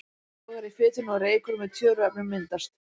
Þá logar í fitunni og reykur með tjöruefnum myndast.